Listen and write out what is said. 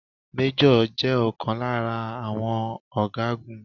Méjọ̀ jẹ ọ̀kan lára àwọn ọ̀gágun